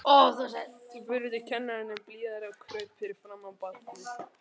spurði kennarinn enn blíðari og kraup fyrir framan barnið.